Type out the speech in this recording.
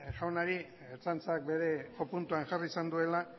jaunari ertzaintzak bere jopuntuan jarri izan duela